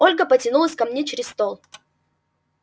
ольга потянулась ко мне через стол